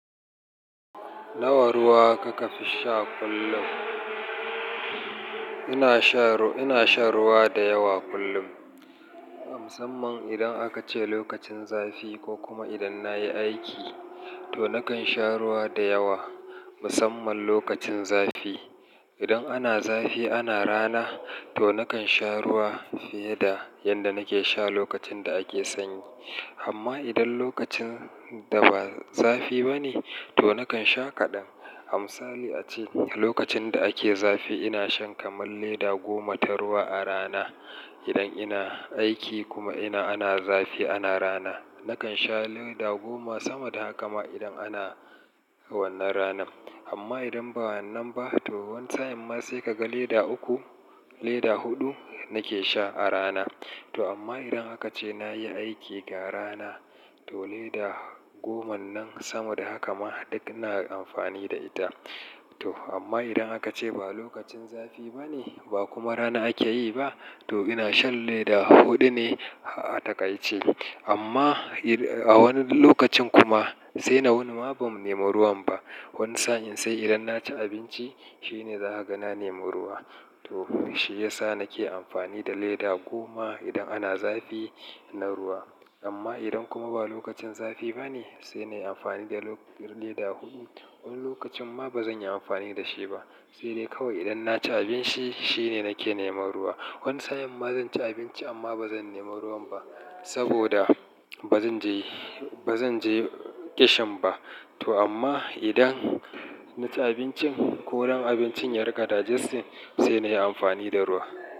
Nawa ruwa kika fi sha kullum? Ina sha, ina shan ruwa da yawa kullum. Musamman idan aka ce lokacin zafi ko kuma idan na yi aiki, to na kan sha ruwa da yawa. Musamman lokacin zafi. Idan ana zafi ana rana, to na kan sha ruwa fiye da yanda nake sha lokacin da ake sanyi. Amma idan lokacin da ba zafi ba ne, to na kan sha kaɗan. Amisali ace lokacin da ake zafi ina shan kaman leda we goma ta ruwa a rana. Idan ina aiki kuma ina ana zafi ana rana, na kan sha lita goma sama da haka ma idan ana wannan ranan. Amma idan ba wannan ba, to wani sa'in ma sai ka ga leda uku, leda huɗu nake sha a rana. To amma idan aka ce na yi aiki da rana, to leda goman nan sama da haka ma duk ina amfani da ita. To amma idan aka ce ba lokacin zafi ba ne, ba kuma rana ake yi ba, to ina shan ledaa huɗu ne a takaice. Amma a wani lokacin kuma sai na wuni ma ban nema ruwan ba. Wani sa'in sai idan na ci abinci, shine za ka ga na nema ruwa. To shi ya sa nake amfani da lita goma idan ana zafi na ruwa. Amma idan kuma ba lokacin zafi ba ne, sai na yi amfani da lita huɗu. Wani lokacin ma ba zan yi amfani da shi ba. Sai dai kawai idan na ci abinci shine nake neman ruwa. Wani sa'in ma zan ci abinci amma ba zan nema ruwan ba. Saboda ba zan je, ba zan je ƙishin ba. To amma idan na ci abincin, ko don abincin ya rika digesting, sai na yi amfani da ruwa.